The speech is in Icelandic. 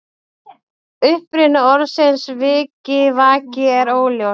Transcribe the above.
Uppruni orðsins vikivaki er óljós.